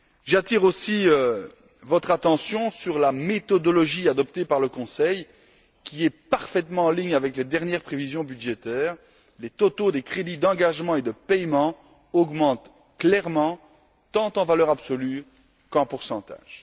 J'attire aussi votre attention sur la méthodologie adoptée par le Conseil qui est parfaitement en ligne avec les dernières prévisions budgétaires, les totaux des crédits d'engagement et de paiement augmentent clairement, tant en valeur absolue qu'en pourcentage.